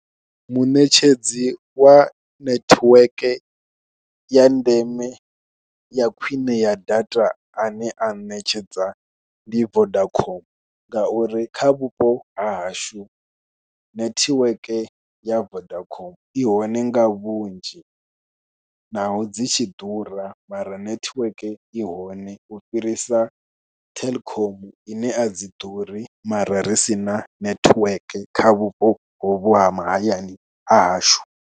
Munetshedzi wa netiwek ya ndeme ya khwine ya data ane a ṋetshedza ndi Vodacom ngauri kha vhupo ha hashu netiweke ya Vodacom i hone nga vhunzhi naho dzi tshi ḓura mara netiweke i hone u fhirisa Telkom ine a dzi ḓuri mara ri si na netiweke kha vhupo hovhu ha mahayani ha hashu.